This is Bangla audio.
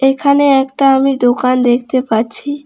এখানে একটা আমি দোকান দেখতে পাচ্ছি।